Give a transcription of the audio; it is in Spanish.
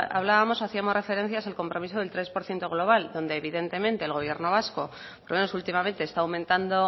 hablábamos hacíamos referencias al compromiso del tres por ciento global donde evidentemente el gobierno vasco por lo menos últimamente está aumentando